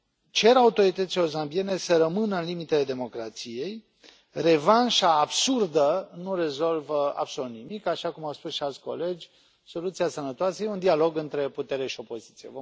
Cer autorităților zambiene să rămână în limitele democrației, revanșa absurdă nu rezolvă absolut nimic, așa cum au spus și alți colegi, soluția sănătoasă este un dialog între putere și opoziție.